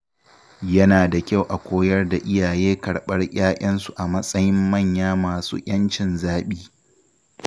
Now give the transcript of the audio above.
Yana da kyau a koyar da iyaye karɓar 'ya‘yansu a matsayin manya masu ‘yancin zaɓi.